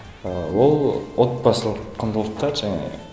ы ол отбасылық құндылықтар жаңағы